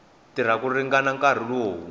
tirha ku ringana nkarhi lowu